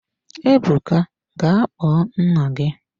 Ebuka ga kpọọ nna gị!